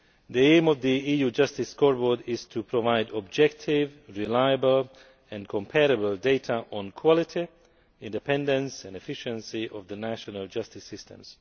The aim of the EU Justice Scoreboard is to provide objective, reliable and comparable data on the quality, independence and efficiency of the national justice systems.